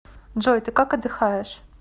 джой ты как отдыхаешь